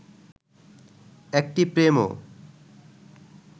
একটি প্রেমও